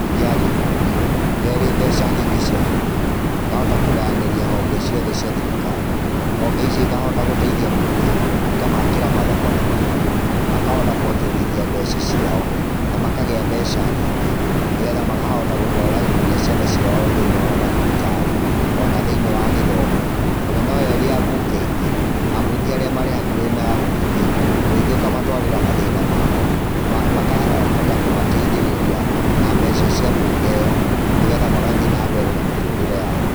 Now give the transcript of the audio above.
Mbunge ya gĩbũrũri nĩ yo ĩrĩ mbeca nyingĩ cia bũrũri ĩkahota kũganyanĩria honge ciothe cia thirikari. Honge icio ikahota gũteithia mũingĩ, ikamakĩra mathoko na mabara, makahota kuonjorithia mbeca ciao na makagĩa mbeca nyingĩ nĩgetha makahota gũtwara nginya ciana ciao thĩiniĩ wa mathibitarĩ o na thĩiniĩ wa gĩthomo. O na nĩyo ĩrĩ abunge aingĩ, abunge arĩa marĩ hakuhĩ na mũingĩ, mũingĩ ũkamatwarĩra mathĩna mao, makahota kũmateithĩrĩria na mbeca cia mbunge ĩyo nĩgetha magathiĩ na mbere na mĩtũrĩre yao.